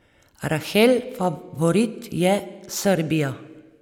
Rahel favorit je Srbija.